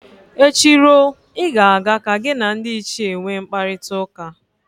Echi ruo, ị ga-aga ka gị na ndị ichie nwe mkparịtaụka